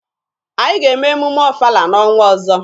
Anyị ga-eme emume ọfala n'ọnwa ọzọ.